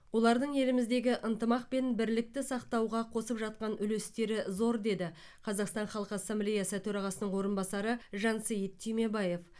олардың еліміздегі ынтымақ пен бірлікті сақтауға қосып жатқан үлестері зор деді қазақстан халық ассамблеясы төрағасының орынбасары жансейіт түймебаев